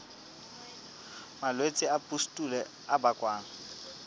malwetse a pustule a bakwang